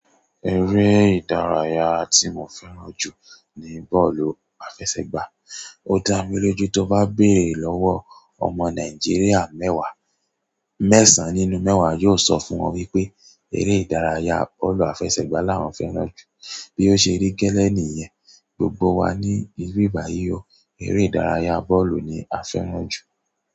Èré ìdárayá tí mò fẹ́ràn jù ní bọ́ọ̀lù àfẹsẹ̀gbá. Ó dá mi lójú tó bá béèrè lọ́wọ́ ọmọ Nàìjíríà mẹ́wàá, mẹ́sàn-án nínú mẹ́wàá yóò sọ fún ọ wípé eré ìdárayá bọ́ọ̀lù àfẹsẹ̀gbá làwọn fẹ́ràn jù. Bí ó ṣe rí gẹ́lẹ́ nìyẹn, gbògbò wà ní ibì bàyi ò, èré ìdárayá bọ́ọ̀lù ni à fẹ́ràn jù.